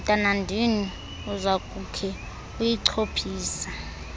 mntanandini uzakukhe uyichophise